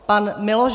Pan Miloš